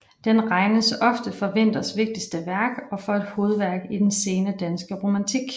Den regnes ofte for Winthers vigtigste værk og for et hovedværk i den sene danske romantik